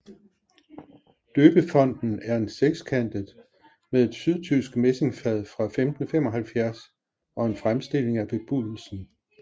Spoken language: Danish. Døbefonten er en sekskantet med et sydtysk messingfad fra 1575 og en fremstilling af Bebudelsen